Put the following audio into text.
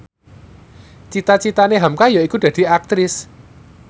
cita citane hamka yaiku dadi Aktris